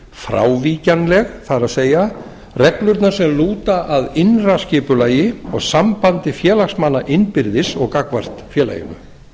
frávíkjanleg það er reglurnar sem lúta að innra skipulagi og sambandi félagsmanna innbyrðis og gagnvart félaginu